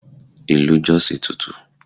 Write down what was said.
Ilu Jos tutù.